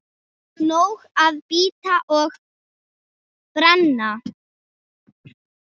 Nóg að bíta og brenna.